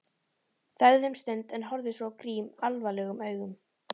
Þagði um stund en horfði svo á Grím alvarlegum augum.